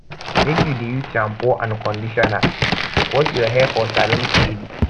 make you dey use shampoo and conditioner wash your hair for salon steady